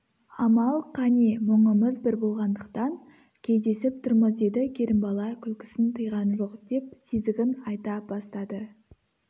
амал қане мұңымыз бір болғандықтан кездесіп тұрмыз деді керімбала күлкісін тыйған жоқ деп сезігін айта бастады